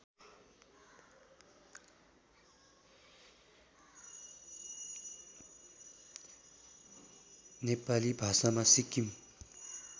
नेपाली भाषामा सिक्किम